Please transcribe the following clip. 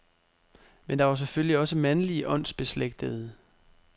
Men der var selvfølgelig også mandlige åndsbeslægtede.